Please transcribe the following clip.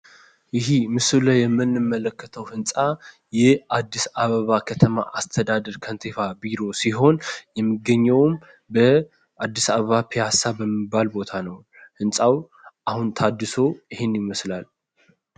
ይሄ ምስሉ ላይ የምንመለከተው ህንፃ ይህ አዲስ አበባ ከተማ አስተዳደር ከንቲባ ቢሮ ሲሆን የሚገኘውም በአዲስ አበባ ፒያሳ በሚባል ቦታ ነው። ህንፃው አሁን ታድሶ ይሄን ይመስላል።